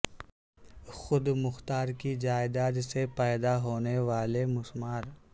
خود مختار کی جائیداد سے پیدا ہونے والے مسمار